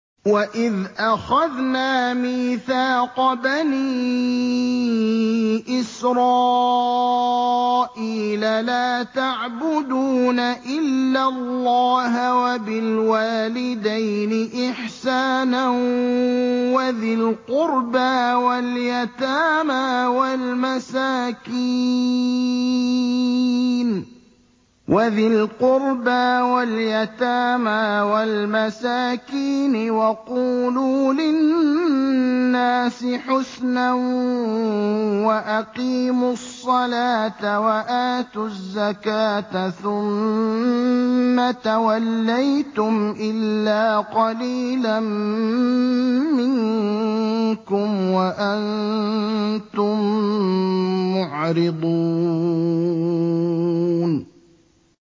وَإِذْ أَخَذْنَا مِيثَاقَ بَنِي إِسْرَائِيلَ لَا تَعْبُدُونَ إِلَّا اللَّهَ وَبِالْوَالِدَيْنِ إِحْسَانًا وَذِي الْقُرْبَىٰ وَالْيَتَامَىٰ وَالْمَسَاكِينِ وَقُولُوا لِلنَّاسِ حُسْنًا وَأَقِيمُوا الصَّلَاةَ وَآتُوا الزَّكَاةَ ثُمَّ تَوَلَّيْتُمْ إِلَّا قَلِيلًا مِّنكُمْ وَأَنتُم مُّعْرِضُونَ